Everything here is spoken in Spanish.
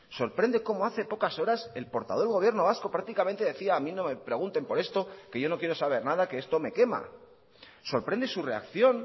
sorprende cómo hace pocas horas el portavoz del gobierno vasco prácticamente decía a mí no me pregunten por esto que yo no quiero saber nada que esto me quema sorprende su reacción